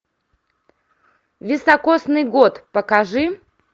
високосный год покажи